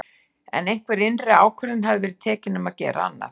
En einhver innri ákvörðun hafði verið tekin um að gera annað.